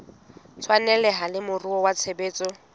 tshwaneleha le moruo wa tshebetso